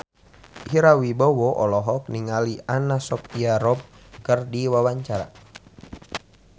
Ira Wibowo olohok ningali Anna Sophia Robb keur diwawancara